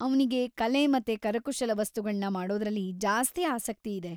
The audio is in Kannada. ಅವ್ನಿಗೆ ಕಲೆ ಮತ್ತೆ ಕರಕುಶಲ ವಸ್ತುಗಳ್ನ ಮಾಡೋದ್ರಲ್ಲಿ ಜಾಸ್ತಿ ಆಸಕ್ತಿ ಇದೆ.